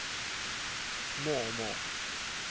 mormor